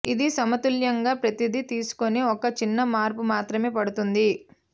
ఇది సమతుల్యంగా ప్రతిదీ తీసుకుని ఒక చిన్న మార్పు మాత్రమే పడుతుంది